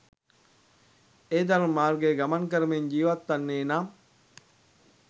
ඒ ධර්ම මාර්ගයේ ගමන් කරමින් ජීවත්වන්නේ නම්